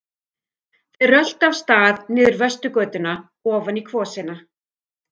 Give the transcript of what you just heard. Þeir röltu af stað niður Vesturgötuna ofan í kvosina.